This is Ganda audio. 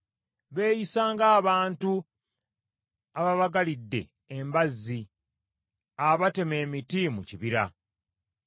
Beeyisa ng’abantu ababagalidde embazzi abatema emiti mu kibira.